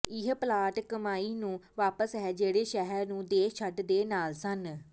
ਇਹ ਪਲਾਟ ਕਮਾਈ ਨੂੰ ਵਾਪਸ ਹੈ ਜਿਹੜੇ ਸ਼ਹਿਰ ਨੂੰ ਦੇਸ਼ ਛੱਡ ਦੇ ਨਾਲ ਸਨ